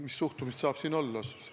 Mis suhtumist siin saab olla?